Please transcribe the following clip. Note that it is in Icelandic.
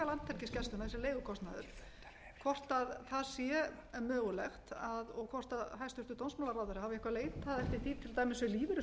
landhelgisgæslunnar þessi leigukostnaður hvort það sé mögulegt og hvort hæstvirtur dómsmálaráðherra hafi eitthvað leitað eftir því til dæmis við lífeyrissjóðina hvort þeir